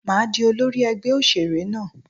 Màá di olórí ẹgbẹ́ òṣèré náà.